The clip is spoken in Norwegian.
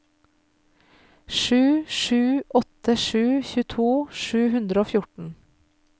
sju sju åtte sju tjueto sju hundre og fjorten